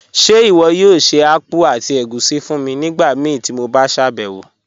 Ṣe iwọ yoo ṣe akpụ̀ àti ègúṣí fún mi nigbamíí ti mo ṣabẹwo?